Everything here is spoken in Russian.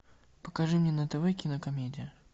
покажи мне на тв кинокомедия